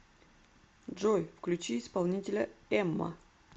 джой включи исполнителя эмма